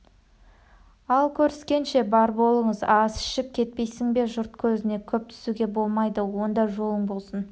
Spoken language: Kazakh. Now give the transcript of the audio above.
ал көріскенше бар болыңыз ас ішіп кетпейсің бе жұрт көзіне көп түсуге болмайды онда жолың болсын